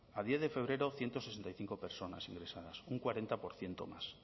a diez de febrero ciento sesenta y cinco personas ingresadas un cuarenta por ciento más